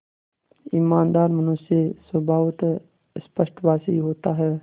ईमानदार मनुष्य स्वभावतः स्पष्टभाषी होता है